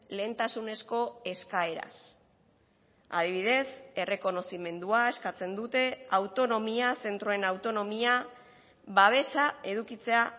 lehentasunezko eskaeraz adibidez errekonozimendua eskatzen dute autonomia zentroen autonomia babesa edukitzea